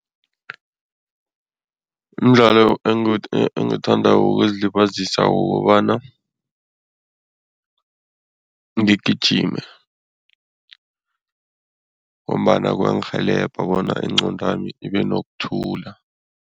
Umdlalo engiwuthandako wokuzilibazisa kukobana ngigijime ngombana kuyangirhelebha bona ingqondwami ibe nokuthula.